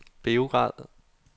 Beograd